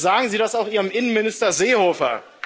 Bitte sagen Sie das auch Ihrem Innenminister Seehofer.